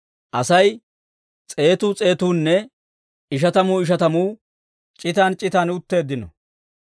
Asay s'eetuu s'eetuunne ishatamuu ishatamuu c'itan c'itan utteeddino.